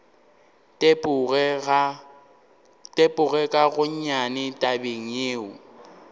tepoge ka gonnyane tabeng yeo